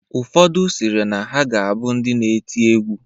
Ụfodụ sịrị na ha ga-abụ ndị na-eti egwu.